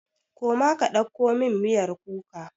Koma ka ɗauko min miyar kuka!